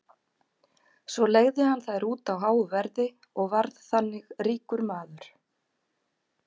svo leigði hann þær út á háu verði og varð þannig ríkur maður